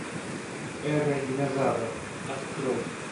эра динозавров открой